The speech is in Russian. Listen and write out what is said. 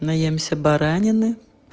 наемся баранины